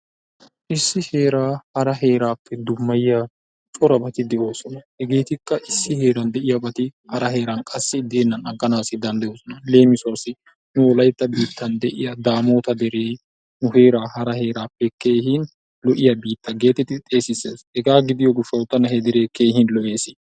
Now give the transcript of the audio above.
Issi heera hara heerappe dummayiya corabatti de'ossona. Hegettika issi heeran de'iyaabatti hara heeran qassi denani aggana dandayosona. Lemissuwasi nu wolaytta biittan de'iyaa daamotta deree nu heera hara heerappe keehi lo'iyaa biitta geettetid xeesises, hegga gidiyo gishshawu tana he dere keehin lo'es.